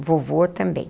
O vovô também.